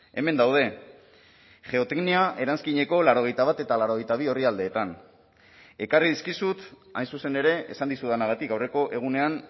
hemen daude geoteknia eranskineko laurogeita bat eta laurogeita bi orrialdeetan ekarri dizkizut hain zuzen ere esan dizudanagatik aurreko egunean